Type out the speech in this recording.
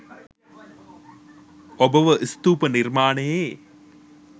ඔබව ස්තූප නිර්මාණයේ